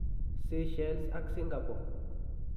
Sychelles ak singapore.